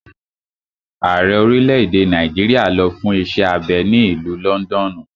Ààrẹ orílẹ̀-èdè Nàìjíríà lọ fún iṣẹ́ abẹ ní ìlú lọ́ndọ̀nù.